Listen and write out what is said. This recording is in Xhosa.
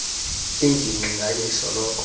ingingqi nganye isoloko